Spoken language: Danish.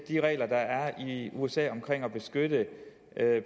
de regler der er i usa om at beskytte